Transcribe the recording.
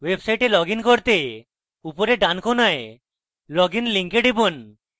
website login করতে উপরের ডানকোণায় log in link টিপুন